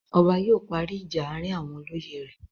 Ọba yóò parí ìjà àárín àwọn olóyè rẹ̀.